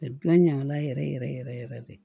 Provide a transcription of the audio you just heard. ɲaga la yɛrɛ yɛrɛ yɛrɛ yɛrɛ yɛrɛ de